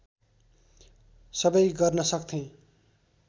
सबै गर्न सक्थेँ